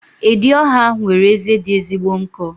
Edi ọhịa nwere eze dị ezigbo nkọ.